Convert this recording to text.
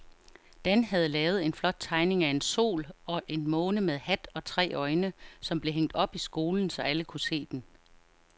Dan havde lavet en flot tegning af en sol og en måne med hat og tre øjne, som blev hængt op i skolen, så alle kunne se den.